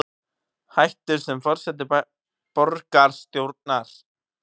Hættir sem forseti borgarstjórnar